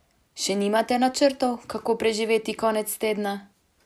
Še nimate načrtov, kako preživeti konec tedna?